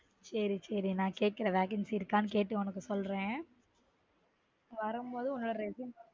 சேரி சேரி நான் கேக்குறன் vacancy இருக்கானு கேட்டு உனக்கு சொல்றன் வரும் போது உன்னோட resume